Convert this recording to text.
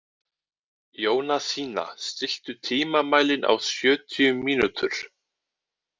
Jónasína, stilltu tímamælinn á sjötíu mínútur.